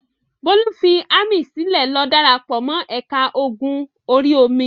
Bólú fi ámì sílẹ̀ lọ dára pọ̀ mọ́ ẹ̀ka ogun orí-omi.